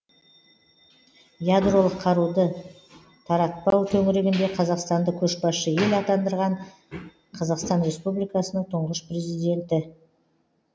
ядролық қаруды таратпау төңірегінде қазақстанды көшбасшы ел атандырған қазақстан республикасының тұңғыш президенті